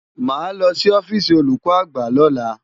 Màá lọ sí ọ́fíìsì olùkọ́ àgbà lọ́la.